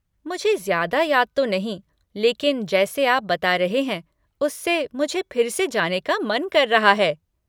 मुझे ज़्यादा याद तो नहीं लेकिन जैसे आप बता रहे हैं उससे मुझे फिर से जाने का मन कर रहा है।